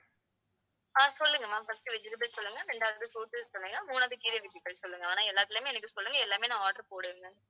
ஆஹ் சொல்லுங்க ma'am firstvegetables சொல்லுங்க ரெண்டாவது fruits சொல்லுங்க மூணாவது கீரைவகைகள் சொல்லுங்க. ஆனா எல்லாத்துலயுமே எனக்கு சொல்லுங்க எல்லாமே நான் order போடணும்.